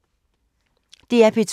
DR P2